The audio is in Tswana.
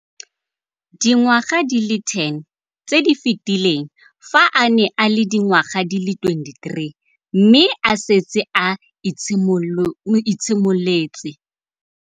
Dingwaga di le 10 tse di fetileng, fa a ne a le dingwaga di le 23 mme a setse a itshimoletse